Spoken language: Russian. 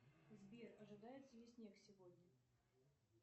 сбер ожидается ли снег сегодня